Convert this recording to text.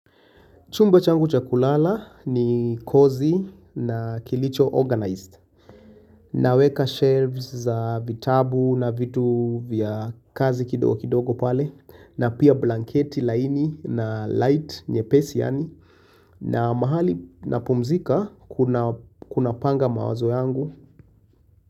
Chumba changu cha kulala ni kozi na kilicho organized. Naweka shelves za vitabu na vitu vya kazi kidogo kidogo pale. Na pia blanketi laini na light nyepesi yani. Na mahali napumzika kuna panga mawazo yangu.